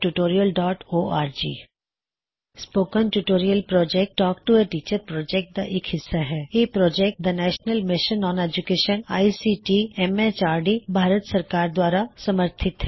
ਹੋਰ ਜਾਣਕਾਰੀ ਲਈ ਲਿੱਖੋ spoken tutorialਓਰਗ spoken tutorial project talk to a teacher project ਦਾ ਇਕ ਹਿੱਸਾ ਹੈ ਇਹ project the national mission on education ICT MHRD ਭਾਰਤ ਸਰਕਾਰ ਦੁਆਰਾ ਸਮਰਥਿਤ ਹੈ